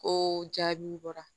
Ko jaabiw bɔra